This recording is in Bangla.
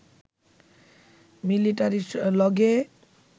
মিলিটারির লগে